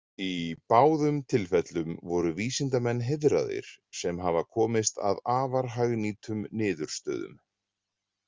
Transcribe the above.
Í báðum tilfellum voru vísindamenn heiðraðir sem hafa komist að afar hagnýtum niðurstöðum.